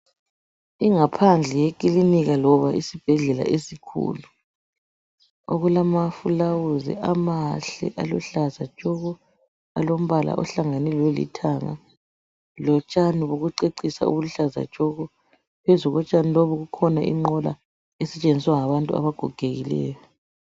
Ingaphandle yekilinika loba isibhedlela esikhulu okulama fulawuzi amahle alombala oluhlaza tshoko ahlangane lombala olithanga lotshani bokucecisa obuluhlaza tshoko. Phezu kotshani lobu kukhona inqola esetshenziswa ngabantu abagogekileyo.